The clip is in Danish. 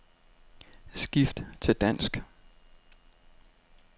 Skift til dansk.